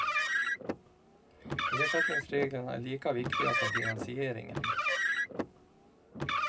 Ersättningsreglerna är lika viktiga som finansieringen.